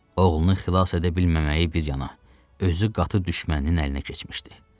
Oğlunu xilas edə bilməməyi bir yana, özü qatı düşməninin əlinə keçmişdi.